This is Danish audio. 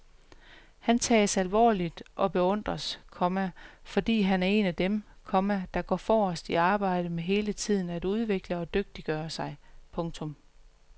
Han tages alvorligt og beundres, komma fordi han er en af dem, komma der går forrest i arbejdet med hele tiden at udvikle og dygtiggøre sig. punktum